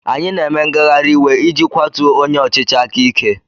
Anyị na-eme ngagharị iwe iji kwatuo onye ọchịchị aka ike.